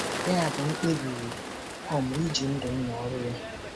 Yabụ m kpebiri iji ndụ m na ọrụ ya.